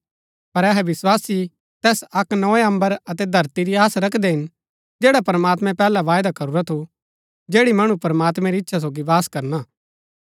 पर अहै विस्वासी तैस अक्क नोए अम्बर अतै धरती री आस रखदै हिन जैड़ा प्रमात्मैं पैहलै वायदा करूरा थू जैड़ी मणु प्रमात्मैं री इच्छा सोगी वास करना